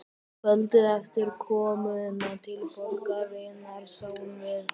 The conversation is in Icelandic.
Kvöldið eftir komuna til borgarinnar sáum við